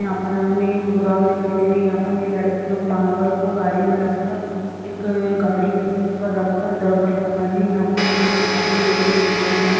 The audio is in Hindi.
यहाँ पर हमे एक गोदाम दिखाई दे रही है यहाँ पर ये लड़के लोग मार्बल को गाड़ी में रख कर एक गाड़ी है उसके ऊपर रख कर इधर-उधर कर रहे है यहाँ पे हमें कुछ आदमी लोग भी दिखाई दे रहे हैं।